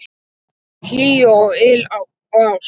Hlýju og yl og ást.